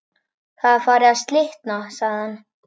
Það er farið að slitna sagði hann.